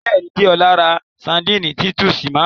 Bẹ́ẹ̀ni, Dẹ́ọla rá Sárḍíńí Títùsí márùn.